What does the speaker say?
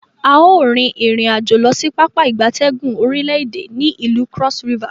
A o rin irin-ajo losi Pápá ìgbatẹ́gùn orile ede ni ilu Cross River.